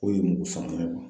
O ye mugu